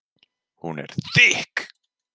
Hún er þykk.